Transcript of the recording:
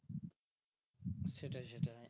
সেটাই সেটাই